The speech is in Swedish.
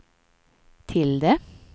tilde